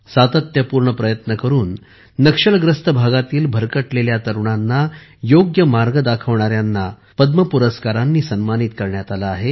सातत्यपूर्ण प्रयत्न करून नक्षलग्रस्त भागातील भरकटलेल्या तरुणांना योग्य मार्ग दाखविणाऱ्यांना पद्म पुरस्काराने सन्मानित करण्यात आले आहे